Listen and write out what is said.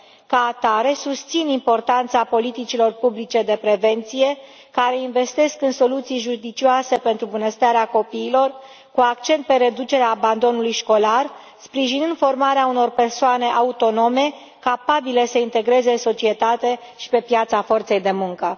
Ca atare, susțin importanța politicilor publice de prevenție care investesc în soluții judicioase pentru bunăstarea copiilor, cu accent pe reducerea abandonului școlar, sprijinind formarea unor persoane autonome, capabile să se integreze în societate și pe piața forței de muncă.